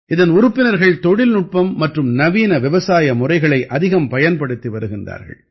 இதன் உறுப்பினர்கள் தொழில்நுட்பம் மற்றும் நவீன விவசாய வழிமுறைகளை அதிகம் பயன்படுத்தி வருகிறார்கள்